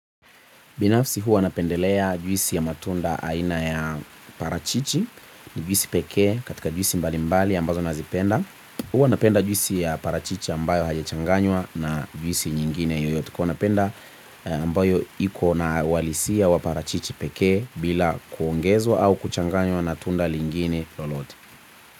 Binafsi huwa napendelea juisi ya matunda aina ya parachichi ni juisi pekee katika juisi mbali mbali ambazo nazipenda. Huwa napenda juisi ya parachichi ambayo haijachanganywa na juisi nyingine yoyote kwa hiyo napenda ambayo iko na uhalisia wa parachichi pekee bila kuongezwa au kuchanganywa na tunda lingine lolote.